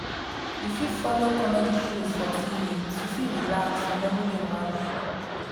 we fit follow comedy shows for tv to fit relax from everyday wahala